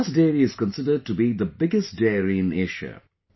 Banas Dairy is considered to be the biggest Dairy in Asia